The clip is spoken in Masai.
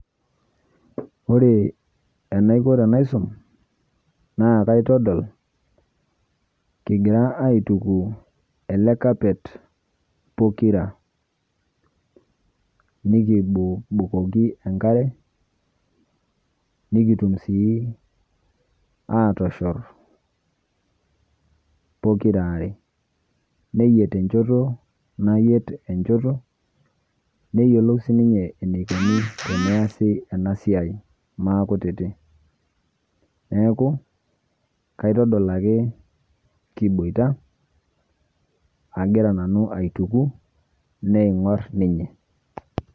Ore enaiko tenaisum naakaitodol kigira aituku ele kapet pokira nikibukoki enkare nikitum sii aatoshorr pokiraare, neyiet enchoto nayiet enchoto neyiolou sininye eneikuni tenaasi enasiai maakutiti neaku kaitodol ake kiboita agira nanu aituku neeing'orr ninye.